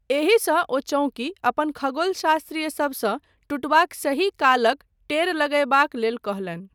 एहिसँ ओचौंकी अपन खगोलशास्त्री सबसँ टुटबाक सही कालक टेर लगयबाक लेल कहलनि।